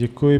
Děkuji.